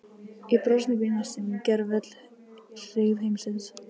Í brosinu býr næstum gervöll hryggð heimsins.